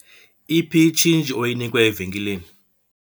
Iphi itshintshi oyinikwe evenkileni?